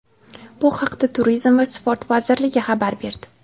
bu haqda Turizm va sport vazirligi xabar berdi.